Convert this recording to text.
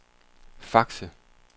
Fakse